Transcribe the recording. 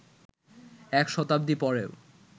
এক শতাব্দী পরেও